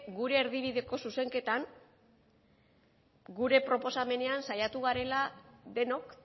gure erdibideko zuzenketan gure proposamenean saiatu garela denok